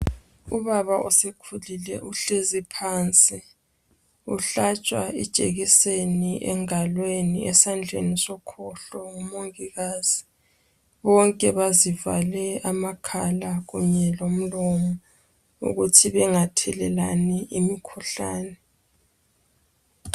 ubaba osekhulile uhlezi phansi uhlatshwa ijekiseni engalweni esandleni sokhohlo ngu mongikazi bazivale amakhala kunye lomlomo ukuthi bengathelelani imikhuhlane